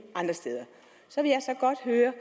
andre steder så vil jeg så godt høre